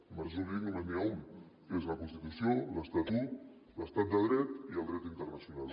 de marc jurídic només n’hi ha un que és la constitució l’estatut l’estat de dret i el dret internacional